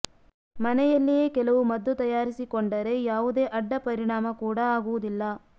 ಮನೆಯಲ್ಲಿಯೇ ಕೆಲವು ಮದ್ದು ತಯಾರಿಸಿಕೊಂಡರೆ ಯಾವುದೇ ಅಡ್ಡ ಪರಿಣಾಮ ಕೂಡ ಆಗುವುದಿಲ್ಲ